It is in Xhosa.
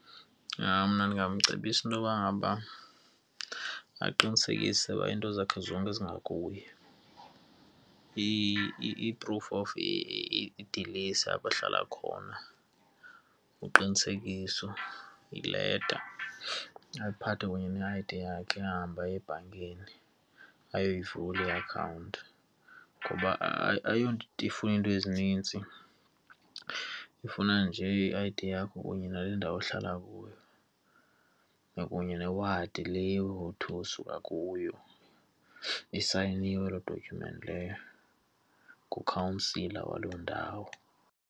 Hayi, mna ndingamcebisa intoba ngaba aqinisekise uba iinto zakhe zonke zingakuye, iprufu of idilesi apho ahlala khona uqinisekiso, ileta, aphathe kunye ne-I_D yakhe ahambe aye ebhankini. Ayoyivula iakhawunti ngoba ayonto ifuna iinto ezinintsi, ifuna nje i-I_D yakho kunye nale ndawo uhlala kuyo nakunye newadi le uthi usuka kuyo, isayiniwe loo document leyo ngukhansila waloo ndawo.